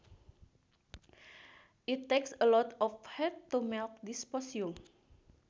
It takes a lot of heat to melt dysprosium